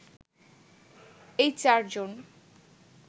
এই চার জন